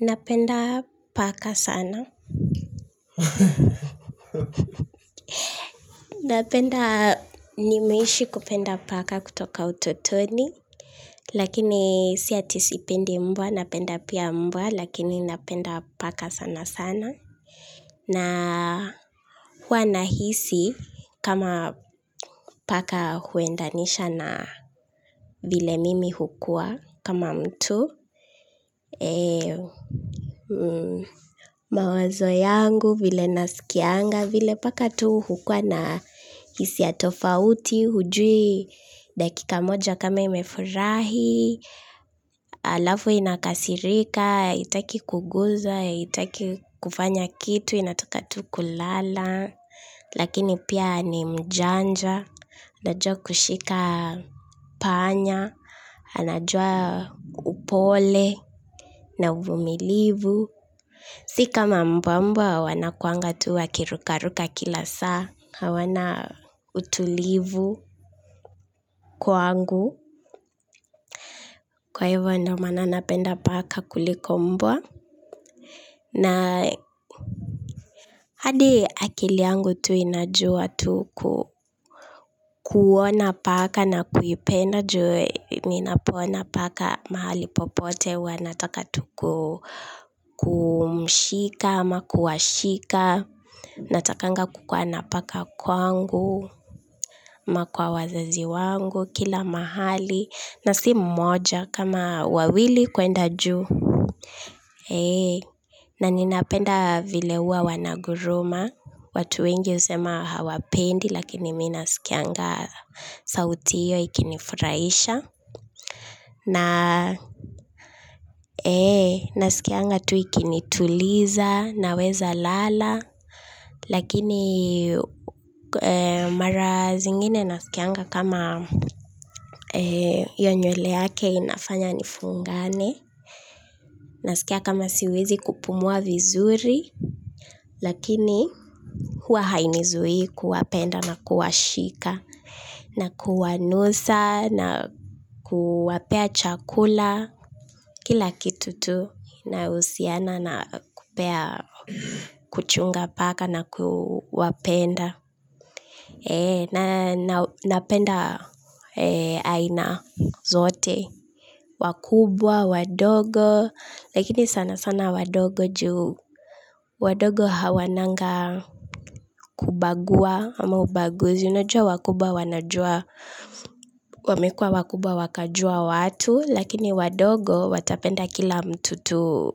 Napenda paka sana. Napenda, nimeishi kupenda paka kutoka utotoni. Lakini si ati sipendi mbwa, napenda pia mbwa, lakini napenda paka sana sana. Na hua nahisi kama paka huendanisha na vile mimi hukua kama mtu. Mawazo yangu vile nasikianga vile paka tu hukuwa na hisia tofauti hujui dakika moja kama imefurahi halafu inakasirika, haitaki kuguzwa, haitaki kufanya kitu, inataka tu kulala lakini pia ni mjanja anajua kushika panya anajua upole na uvumilivu si kama mbwa mbwa wanakuanga tu wakirukaruka kila saa hawana utulivu kwangu kwa hivyo ndio maana napenda paka kuliko mbwa na hadi akili yangu tu inajua tu kuona paka na kuipenda juu ninapoona paka mahali popote huwa nataka tu kumshika ama kuwashika. Natakanga kukua na paka kwangu ama kwa wazazi wangu kila mahali na si mmoja kama wawili kwenda juu na ninapenda vile huwa wanaguruma watu wengi husema hawapendi lakini mimi naskianga sauti hiyo ikinifurahisha na nasikianga tu ikinituliza naweza lala lakini mara zingine nasikianga kama hiyo nywele yake inafanya nifungane nasikia kama siwezi kupumua vizuri lakini hua hainizui kuwapenda na kuwashika na kuwanusa na kuwapea chakula kila kitu tu inayohusiana na kupea kuchunga paka na kuwapenda na napenda aina zote wakubwa, wadogo lakini sana sana wadogo juu wadogo hawananga kubagua ama ubaguzi unajua wakubwa wanajua wamekua wakubwa wakajua watu lakini wadogo watapenda kila mtu tu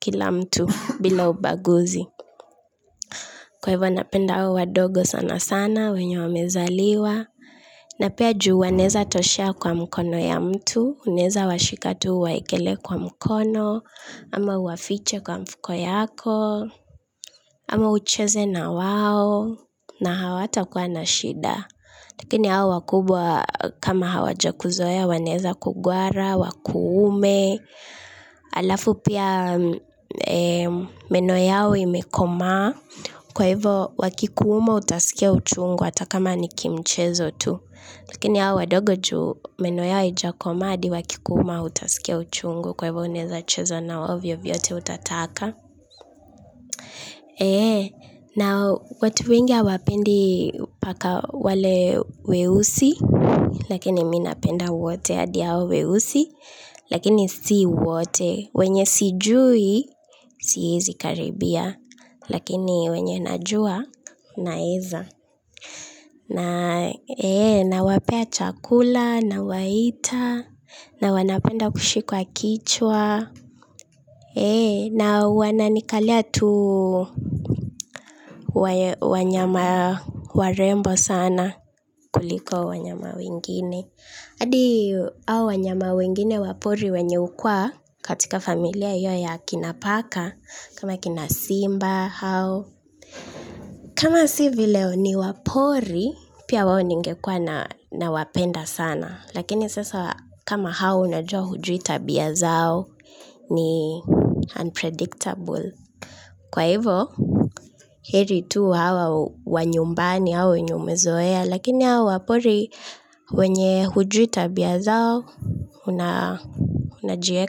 kila mtu bila ubaguzi. Kwa hivyo napenda hao wadogo sana sana wenye wamezaliwa na pia juu wanaweza toshea kwa mkono ya mtu. Unaweza washika hata uwaekelee kwa mkono ama uwafiche kwa mfuko yako ama ucheze na wao. Na hawatakuwa na shida. Lakini hao wakubwa kama hawajakuzoea wanaweza kugwara wakuume halafu pia meno yao imekomaa kwa hivyo wakikuuma utaskia uchungu hata kama ni kimchezo tu lakini hao wadogo juu meno yao haijakomaa hadi wakikuuma hautaskia uchungu kwa hivyo unaweza cheza na wao vyovyote utataka na watu wengi hawapendi paka wale weusi lakini mimi napenda wote hadi hao weusi lakini si wote wenye sijui siwezi karibia lakini wenye najua naweza. Nawapea chakula. Nawaita na wanapenda kushikwa kichwa na wananikalia tu. Wanyama warembo sana kuliko wanyama wengine hadi hao wanyama wengine wa pori wenye hukuwa katika familia hiyo ya kina paka kama kina simba hao kama si vile ni wa pori pia wao ningekuwa nawapenda sana lakini sasa kama hao unajua hujui tabia zao ni unpredictable kwa hivyo heri tu hawa wa nyumbani hao wenye umezoea lakini hao wa pori wenye hujui tabia zao unajieka.